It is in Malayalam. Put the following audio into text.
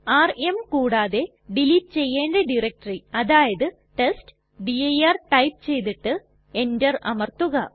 ആർഎം കൂടാതെ ഡിലീറ്റ് ചെയ്യണ്ട ഡയറക്ടറി അതായത് ടെസ്റ്റ്ഡിർ ടൈപ്പ് ചെയ്തിട്ട് എന്റർ അമർത്തുക